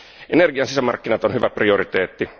Energian sisämarkkinat on hyvä prioriteetti.